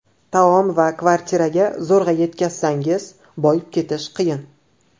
Taom va kvartiraga zo‘rg‘a yetkazsangiz, boyib ketish qiyin.